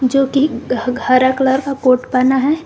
जोकि ह हरा कलर का कोट पहना है।